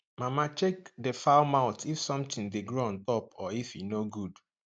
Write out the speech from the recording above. mama check the fowl mouth if something dey grow on top or if e no good